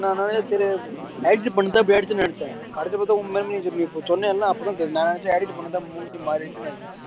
நிறைய பேரு diet பண்ணினா போயிடுதுன்னு நினைச்சேன் அடுத்து பாத்தா உண்மைன்னு நீ சொன்னேல அப்பறம் நான் நினைச்சேன் diet பண்ணிதான் மூஞ்சி மாறிடிச்சுன்னு நினைச்சேன்